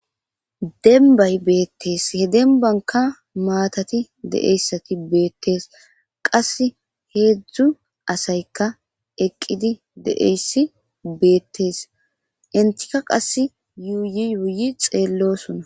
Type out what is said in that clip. Demba bettes hembaka mattati de'iyasi Bette's qase 3asayka eqidi de'iyasi betes entika qase yuyi yuyi xelosona